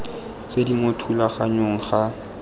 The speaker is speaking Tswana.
tse di mo thulaganyong ga